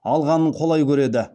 алғанын қолай көреді